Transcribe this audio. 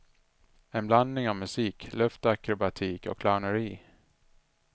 En blandning av musik, luftakrobatik och clowneri.